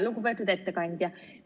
Lugupeetud ettekandja!